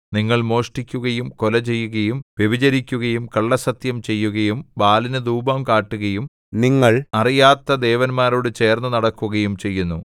നിങ്ങൾ മോഷ്ടിക്കുകയും കൊലചെയ്യുകയും വ്യഭിചരിക്കുകയും കള്ളസ്സത്യം ചെയ്യുകയും ബാലിനു ധൂപം കാട്ടുകയും നിങ്ങൾ അറിയാത്ത ദേവന്മാരോടു ചേർന്ന് നടക്കുകയും ചെയ്യുന്നു